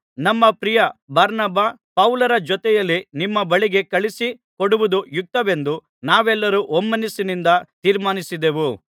ನಮ್ಮ ಪ್ರಿಯ ಬಾರ್ನಬ ಪೌಲರ ಜೊತೆಯಲ್ಲಿ ನಿಮ್ಮ ಬಳಿಗೆ ಕಳುಹಿಸಿ ಕೊಡುವುದು ಯುಕ್ತವೆಂದು ನಾವೆಲ್ಲರೂ ಒಮ್ಮನಸ್ಸಿನಿಂದ ತೀರ್ಮಾನಿಸಿದೆವು